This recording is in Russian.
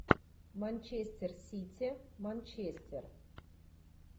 манчестер сити манчестер